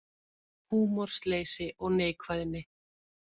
Húmorsleysi og neikvæðni